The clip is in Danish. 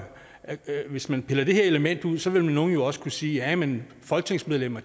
at hvis man piller det her element ud så vil nogle jo også kunne sige ja men folketingsmedlemmer